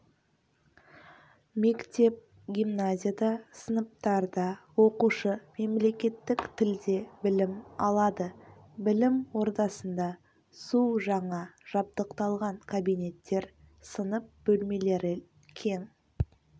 мектеп-гимназияда сыныптарда оқушы мемлекеттік тілде білім алады білім ордасында су жаңа жабдықталған кабинеттер сынып бөлмелері кең